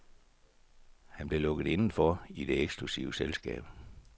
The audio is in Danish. Han blev lukket inden for i det eksklusive selskab.